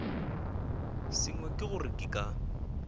sengwe ke gore ke ka